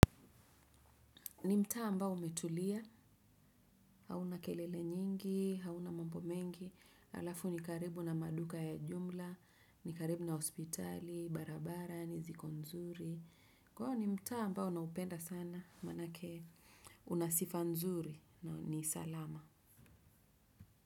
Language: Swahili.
Ni mta ambao umetulia, hauna kelele nyingi, hauna mambo mengi, alafu ni karibu na maduka ya jumla, ni karibu na hospitali, barabara, niziko nzuri. Kwao ni mtaa ambao naupenda sana, manake unasifa nzuri, ni salama.